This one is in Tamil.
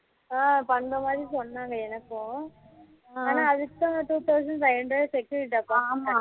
ஆ பண்ணுற மாதிரி சொன்னாங்க எனக்கும் ஆனா அதுக்கு தான் two thousand five hundred security deposit